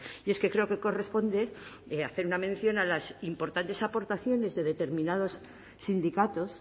y es que creo que corresponde hacer una mención a las importantes aportaciones de determinados sindicatos